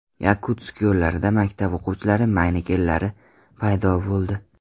Yakutsk yo‘llarida maktab o‘quvchilari manekenlari paydo bo‘ldi.